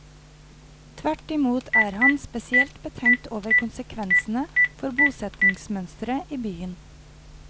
Tvert i mot er han spesielt betenkt over konsekvensene for bosettingsmønsteret i byen.